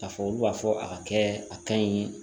K'a fɔ olu b'a fɔ a ka kɛ a ka ɲi